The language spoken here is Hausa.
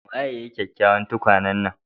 Waye ya yi kyakkyawan tukwane nan?